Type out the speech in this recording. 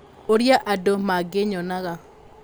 Ũrĩa andũ mangĩnyonaga.